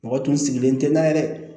Mɔgɔ tun sigilen tɛ na ye dɛ